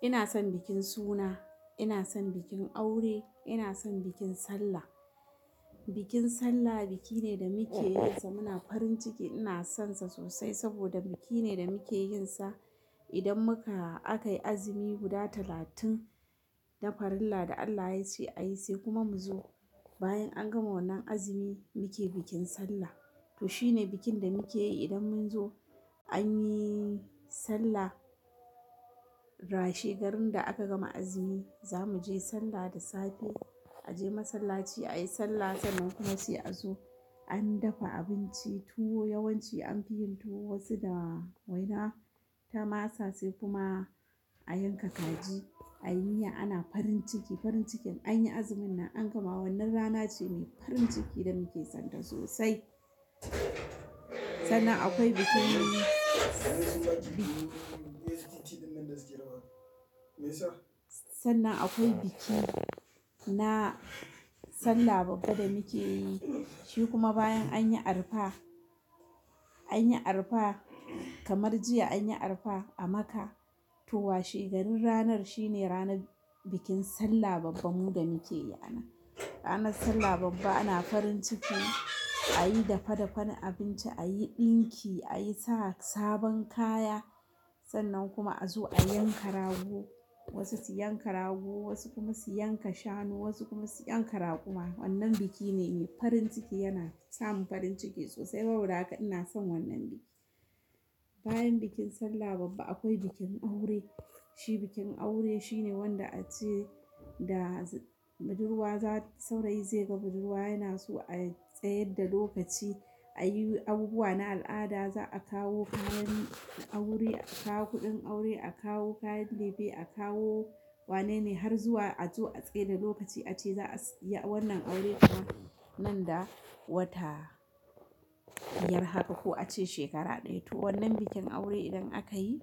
Ina son bikin suna, ina son bikin aure, ina son bikin Sallah. Bikin Sallah biki ne da muke yinsa muna farin ciki. Ina sonsa sosai saboda biki ne da muke yinsa idan muka akayi azumi guda talatin na farilla da Allah yace ayi sai kuma mu zo bayan an gama wannan azumi muke bikin Sallah. To shine bikin da muke yi idan mun zo anyi Sallah, rashe garin da aka gama azumi za mu je Sallah da safe aje masallaci ayi Sallah sannan kuma sai a zo an dafa abinci tuwo yawanci anfi yin tuwo wasu da waina, ta masa sai kuma a yanka kaji a yi miya ana farin ciki. Farin cikin anyi azumin nan an gama wannan rana ce mai farin ciki da muke son ta sosai. Sannan akwai bikin sannan akwai biki na Sallah babba da muke yi shi kuma bayan anyi arfa, anyi arfa kamar jiya anyi arfa a Makkah to washe garin ranar shine ranar bikin Sallah babba mu da muke yi a nan. Ranar Sallah babba ana farin ciki ayi dafa dafan abinci, ayi ɗinki, ayi sa sabon kaya sannan kuma a zo a yanka rago wasu su yanka rago wasu kuma su yanka shanu wasu kuma su yanka raƙuma wannan biki ne mai farin ciki yana sa mu farin ciki sosai. Saboda haka ina son wannan biki. Bayan bikin Sallah babba akwai bikin aure. Shi bikin aure shine wanda a ce da budurwa za saurayi zai ga budurwa yana so a tsayar da lokaci a yi abubuwa na al'ada za a kawo kayan aure, a kawo kuɗin aure, a kawo kayan ɗab'i, a kawo wanene har zuwa a zo a tsaida lokaci ace za a yi wannan aure nan da wata biyar haka ko a ce shekara ɗaya. To wannan bikin aure idan aka yi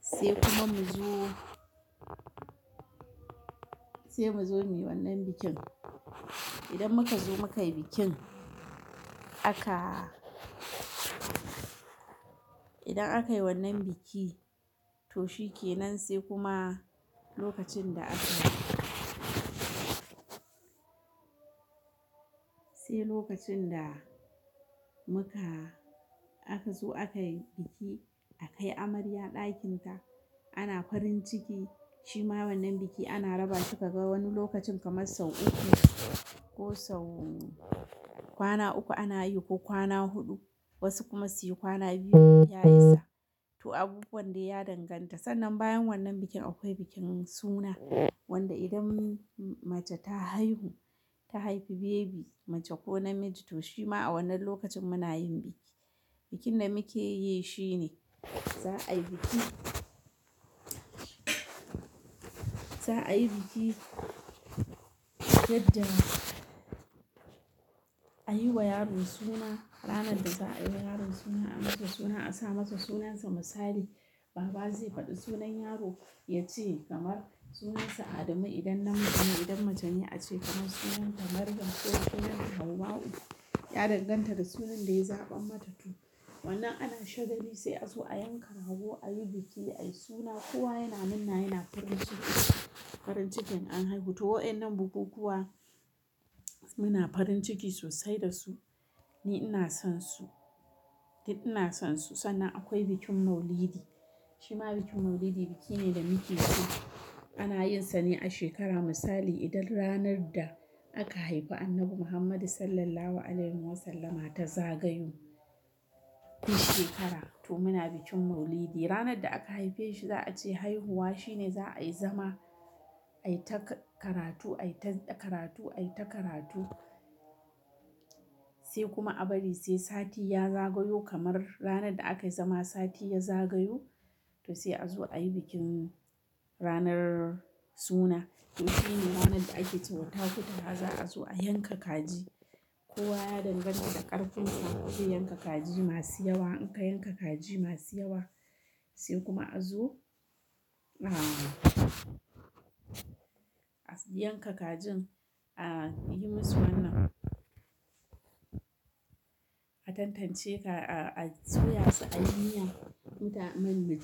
sai kuma mu zo sai mu zo muyi wannan bikin. Idan muka zo muka yi bikin aka idan aka yi wannan biki to shikenan sai kuma lokacin da aka sai lokacin da muka aka zo aka yi biki aka kai amarya ɗakinta ana farin ciki shima wannan biki ana raba shi ka ga wani lokacin kamar sau uku ko sau kwana uku ana yi ko kwana huɗu wasu kuma su yi kwana biyu ya isa. To abubuwan da ya danganta sannan bayan wannan bikin akwai bikin suna wanda idan mace ta haihu ta haifi baby mace ko namiji to shima a wannan lokacin muna yin biki. Bikin da muke yi shine za a yi biki za a yi biki yadda a yi wa yaro suna ranar da za a yi wa yaro suna a masa suna a sa masa sunansa misali baba zai faɗi sunan yaro ya ce kamar sunansa Adamu idan namiji ne idan mace ne a ce kamar sunanta Maryam ko sunanta Hawau ya danganta da sunan da ya zaɓa mata to wannan nan ana shagali sai a zo a yanka rago a yi biki a yi suna kowa yana murna yana farin ciki farin cikin an haihu. To waɗannan bukukuwa muna farin ciki sosai da su ni ina sonsu, ni ina sonsu sannan akwai bikin maulidi shima bikin maulidi biki ne da muke so ana yinsa ne a shekara misali idan ranar da aka haifi Annabi Muhammadu Sallallahu Alaihi Wasallama ta zagayo duk shekara to muna bikin maulidi. Ranar da aka haife shi za a ce haihuwa shine za a yi zama ayi ta karatu ayi ta karatu ayi ta karatu sai kuma a bari sai sati ya zagayo kamar ranar da aka yi zama sati ya zagayo to sai a zo a yi bikin ranar suna. To shine ranar da ake cewa takutaha za a zo a yanka kaji kowa ya danganta da ƙarfinsa zai yanka kaji masu yawa in ka yanka kaji masu yawa sai kuma a zo a yanka kajin a yi musu wannan a tantance ka a soya su a yi miya mutanen mijina.